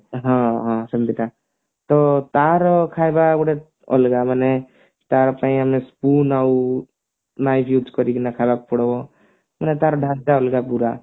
ହଁ ହଁ ସେମିତିକା ତ ତାର ଖାଇବା ଗୋଟେ ଅଲଗା ମାନେ ତା ପାଇଁ ଆମେ spoon ଆଉ knife use କରିକିନା ଖାଇବାକୁ ପଡିବ ପୁରା ତାର ଢାଞ୍ଚା ଅଲଗା ପୁରା